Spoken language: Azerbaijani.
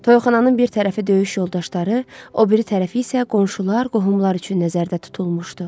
Toyxananın bir tərəfi döyüş yoldaşları, o biri tərəfi isə qonşular, qohumlar üçün nəzərdə tutulmuşdu.